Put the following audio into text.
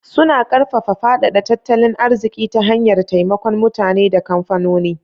Suna karfafa faɗaɗa tattalin arziki ta hanyar taimakon mutane da kamfanoni.